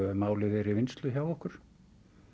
málið er í vinnslu hjá okkur